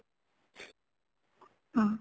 ହଁ